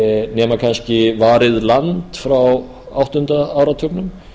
nema kannski varið land frá áttunda áratugnum